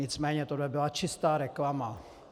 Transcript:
Nicméně tohle byla čistá reklama.